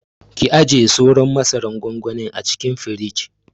Ki ajiye sauran masaran gwangwanin a cikin firij.